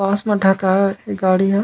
पास में ढकायल गाड़ी हे।